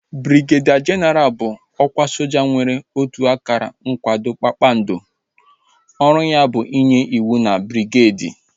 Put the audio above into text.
Brigedia jenaral bụ ọkwa soja nwere otu akara nkwado kpakpando ọrụ ya bụ inye ịwụ na brigedi